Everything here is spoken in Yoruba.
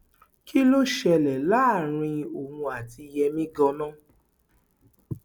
kí ló ṣẹlẹ láàrin òun àti yẹmi ganan